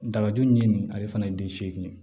Dabaju ni nin ale fana ye den seegin ye